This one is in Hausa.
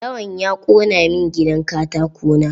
Lawan ya ƙona min gidan katako na.